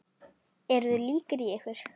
Eru þið líkir í ykkur?